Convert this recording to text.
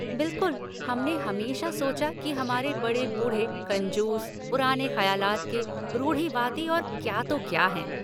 बिलकुल! हम ने हमेशा सोचा कि हमारे बड़े बूढ़े कंजूस, पुराने खयालात के, रूढ़िवादी और क्या तो क्या हैं।